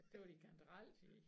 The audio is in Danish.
Det var din kantareltid